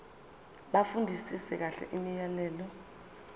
bafundisise kahle imiyalelo